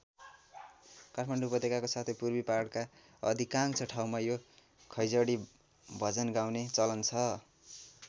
काठमाडौँ उपत्यकाको साथै पूर्वी पहाडका अधिकांश ठाउँमा यो खैंजडी भजन गाउने चलन छ।